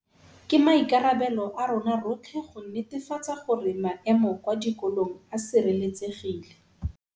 Ke maikarabelo a rona rotlhe go netefatsa gore maemo kwa dikolong a sireletsegile.